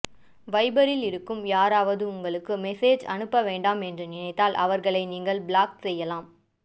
வைபரில் இருக்கும் யாராவது உங்களுக்கு மெசேஜ் அனுப்ப வேண்டாம் என்று நினைத்தால் அவராகளை நீங்க ப்ளாக் செய்யலாம்